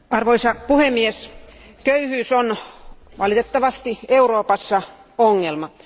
Arvoisa puhemies, köyhyys on valitettavasti Euroopassa ongelma.